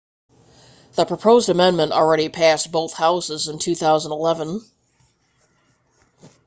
the proposed amendment already passed both houses in 2011